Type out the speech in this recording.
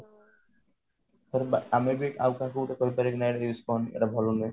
ଧର ଆମେ ବି ଆଉ କାହାକୁ ଗୋଟେ କହି ପାରିବା କି ନାଇଁ use କରଣି ଏଟା ଭଲ ନୁହେଁ